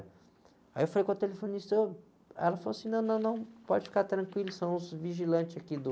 Aí eu falei com a telefonista, ela falou assim, não, não, não, pode ficar tranquilo, são os vigilantes aqui do...